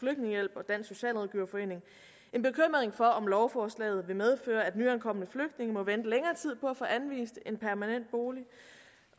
socialrådgiverforening en bekymring for om lovforslaget vil medføre at nyankomne flygtninge må vente længere tid på at få anvist en permanent bolig